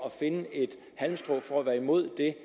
at finde et halmstrå for at være imod det